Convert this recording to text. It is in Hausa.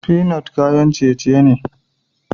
Finite kayan ciye-ciye ne.